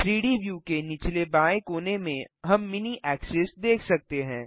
3डी व्यू के निचले बाएँ कोने में हम मिनी ऐक्सिस देख सकते हैं